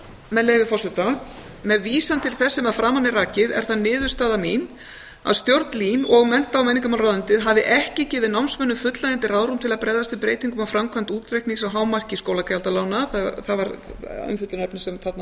með leyfi forseta með vísan til þess sem að framan er rakið er það niðurstaða mín að stjórn lín og mennta og menningarmálaráðuneytið hafi ekki gefið námsmönnum fullnægjandi ráðrúm til að bregðast við breytingum á framkvæmd útreiknings á hámarki skólagjaldalána það var umfjöllunarefni sem þarna